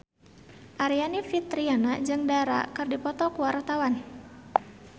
Aryani Fitriana jeung Dara keur dipoto ku wartawan